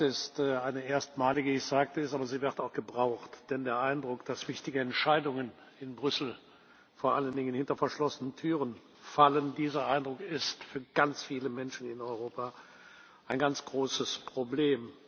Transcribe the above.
Diese Debatte ist eine erstmalige ich sagte es aber sie wird auch gebraucht, denn der Eindruck, dass wichtige Entscheidungen in Brüssel vor allen Dingen hinter verschlossenen Türen fallen, ist für ganz viele Menschen in Europa ein ganz großes Problem.